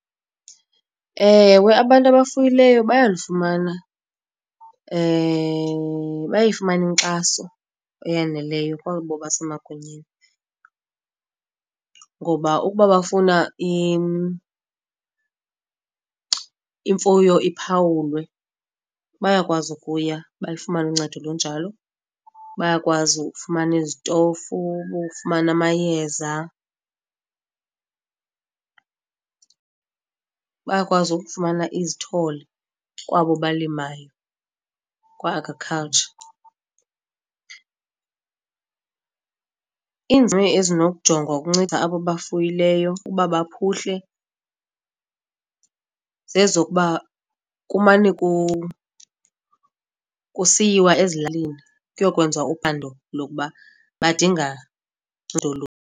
Ewe, abantu abafuyileyo bayalufumana bayayifumana inkxaso eyaneleyo kwabo basemagunyeni. Ngoba ukuba bafuna imfuyo iphawulwe bayakwazi ukuya bayifumane uncedo olunjalo. Bayakwazi ukufumana izitofu, ukufumana amayeza. Bayakwazi ukufumana izithole kwabo balimayo kwa-Agriculture. Iinzame ezinokujongwa ukunceda abo bafuyileyo ukuba baphuhle, zezokuba kumane kusiyiwa ezilalini kuyokwenziwa uphando lokuba badinga ncedo luni.